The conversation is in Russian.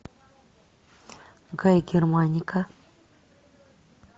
гай германика